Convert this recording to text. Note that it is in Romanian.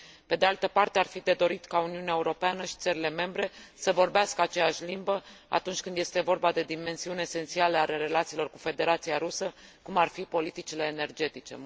Pe de altă parte, ar fi de dorit ca Uniunea Europeană și țările membre să vorbească aceeași limbă, atunci când este vorba de dimensiuni esențiale ale relațiilor cu Federația Rusă, cum ar fi politicile energetice.